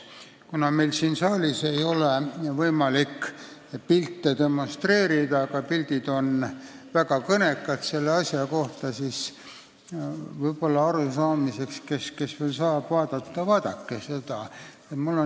Kuna meil siin saalis ei ole võimalik pilte demonstreerida, aga pildid on selle asja puhul väga kõnekad, siis palun vaadake seda meili.